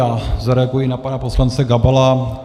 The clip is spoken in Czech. Já zareaguji na pana poslance Gabala.